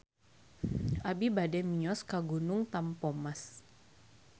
Abi bade mios ka Gunung Tampomas